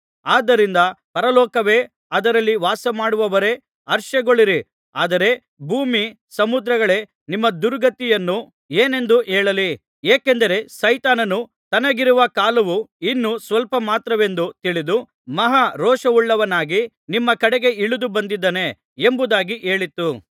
ಆದ್ದರಿಂದ ಪರಲೋಕವೇ ಅದರಲ್ಲಿ ವಾಸಮಾಡುವವರೇ ಹರ್ಷಗೊಳ್ಳಿರಿ ಆದರೆ ಭೂಮಿ ಸಮುದ್ರಗಳೇ ನಿಮ್ಮ ದುರ್ಗತಿಯನ್ನು ಏನೆಂದು ಹೇಳಲಿ ಏಕೆಂದರೆ ಸೈತಾನನು ತನಗಿರುವ ಕಾಲವು ಇನ್ನು ಸ್ವಲ್ಪಮಾತ್ರವೆಂದು ತಿಳಿದು ಮಹಾ ರೋಷವುಳ್ಳವನಾಗಿ ನಿಮ್ಮ ಕಡೆಗೆ ಇಳಿದು ಬಂದಿದ್ದಾನೆ ಎಂಬುದಾಗಿ ಹೇಳಿತು